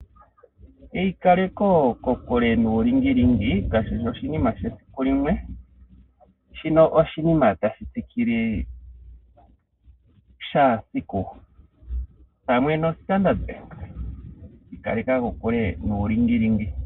Eikale ko kokule nuulingilingi kashishi oshinima shesiku limwe, shino oshinima tashi tsikile kehe esiku, pamwe no Standard bank, ikaleka kokule nuulingilingi.